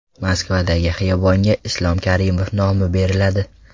Moskvadagi xiyobonga Islom Karimov nomi beriladi .